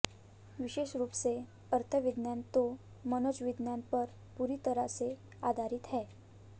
विशेष रूप से अर्थविज्ञान तो मनोविज्ञान पर पूरी तरह से आधारित है